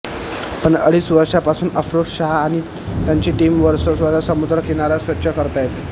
पण अडीच वर्षांपासून अफरोज शहा आणि त्यांची टीम वर्सोवाचा समुद्र किनारा स्वच्छ करतायेत